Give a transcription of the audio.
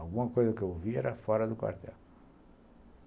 Alguma coisa que eu ouvia era fora do quartel.